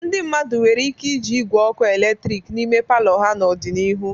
Ndị mmadụ nwere ike iji igwe ọkụ eletrik n'ime palọ ha n'ọdịnihu.